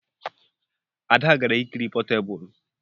Ada gara ikiri potebụl